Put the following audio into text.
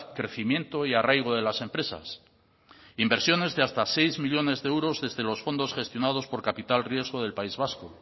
crecimiento y arraigo de las empresas inversiones de hasta seis millónes de euros desde los fondos gestionados por capital riesgo del país vasco